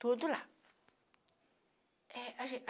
Tudo lá. É a